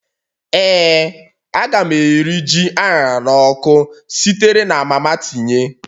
Ee, a ga m eri ji a ṅara n'ọkụ sitere na mama tinye